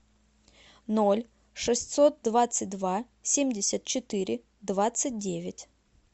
ноль шестьсот двадцать два семьдесят четыре двадцать девять